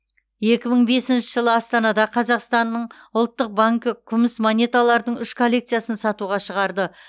екі мың бесінші жылы астанада қазақстанның ұлттық банкі күміс монеталардың үш коллекциясын сатуға шығарды